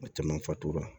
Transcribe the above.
A caman fatula